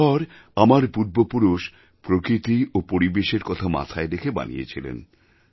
এই ঘর আমার পূর্বপুরুষ প্রকৃতি ও পরিবেশের কথা মাথায় রেখে বানিয়েছিলেন